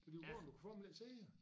Da de var gået du kunne fandme ikke se det